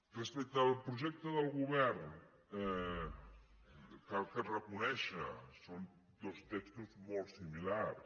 respecte al projecte del govern cal reconèixer ho són dos textos molt similars